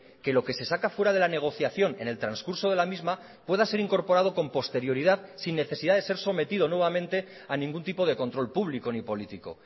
que lo que se saca fuera de la negociación en el transcurso de la misma pueda ser incorporado con posterioridad sin necesidad de ser sometido nuevamente a ningún tipo de control público ni político